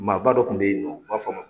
Maa ba dɔ kun be yen nɔ , u b'a fɔ a ma